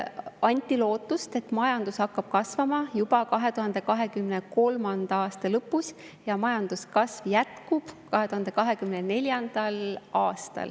Anti lootust, et majandus hakkab kasvama juba 2023. aasta lõpus ja kasv jätkub 2024. aastal.